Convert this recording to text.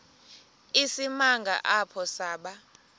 isimanga apho saba